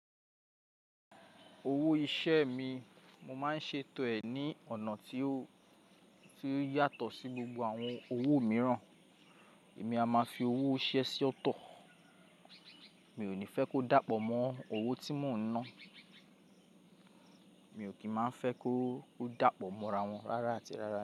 Owó iṣẹ́ mi, mo máa ń ṣe ètò ẹ̀ ní ọ̀nà tí ó, tí ó yàtọ̀ sí gbogbo àwọn owó mìíràn. Èmi a máa fi owó iṣẹ́ sí ọ̀tọ̀. Mi ò ní fẹ́ kó dàpọ̀ mọ́ owó tí mò ń ná. Mi ò kín má fẹ́ kó, kó dàpọ̀ mọ́ra wọn rárá àti rárá.